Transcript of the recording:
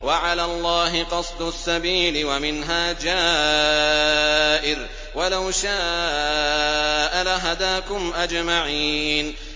وَعَلَى اللَّهِ قَصْدُ السَّبِيلِ وَمِنْهَا جَائِرٌ ۚ وَلَوْ شَاءَ لَهَدَاكُمْ أَجْمَعِينَ